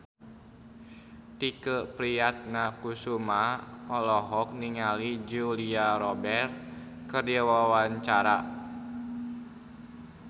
Tike Priatnakusuma olohok ningali Julia Robert keur diwawancara